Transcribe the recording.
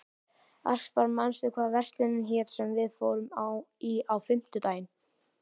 Aspar, manstu hvað verslunin hét sem við fórum í á fimmtudaginn?